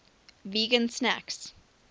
vegan snacks